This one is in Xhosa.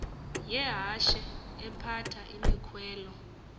yehashe ephatha imikhwelo